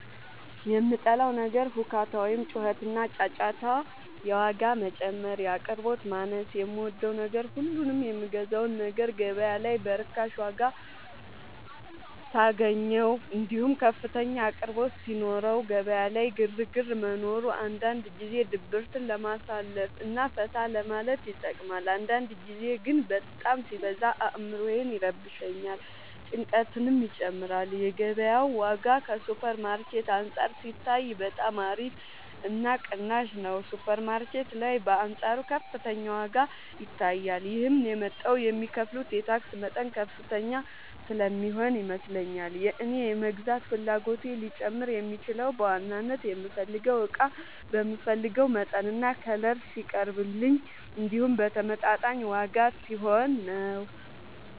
የምጠላው ነገር ሁካታ ወይም ጩኸትና ጫጫታ የዋጋ መጨመር የአቅርቦት ማነስ የምወደው ነገር ሁሉንም የምገዛውን ነገር ገበያ ላይ በርካሽ ዋጋ ሳገኘው እንዲሁም ከፍተኛ አቅርቦት ሲኖረው ገበያ ላይ ግርግር መኖሩ አንዳንድ ጊዜ ድብርትን ለማሳለፍ እና ፈታ ለማለት ይጠቅማል አንዳንድ ጊዜ ግን በጣም ሲበዛ አዕምሮን ይረብሻል ጭንቀትንም ይጨምራል የገበያው ዋጋ ከሱፐር ማርኬት አንፃር ሲታይ በጣም አሪፍ እና ቅናሽ ነው ሱፐር ማርኬት ላይ በአንፃሩ ከፍተኛ ዋጋ ይታያል ይህም የመጣው የሚከፍሉት የታክስ መጠን ከፍተኛ ስለሚሆን ይመስለኛል የእኔ የመግዛት ፍላጎቴ ሊጨምር የሚችለው በዋናነት የምፈልገው እቃ በምፈልገው መጠንና ከለር ሲቀርብልኝ እንዲሁም በተመጣጣኝ ዋጋ ሲሆን ነው።